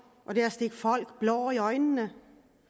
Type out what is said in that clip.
og det er at stikke folk blår i øjnene